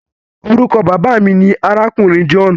Orúkọ Bàbá mí ní arákùnrin john